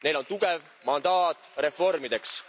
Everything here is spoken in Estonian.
Neil on tugev mandaat reformideks.